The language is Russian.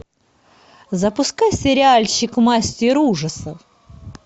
запускай сериальчик мастер ужасов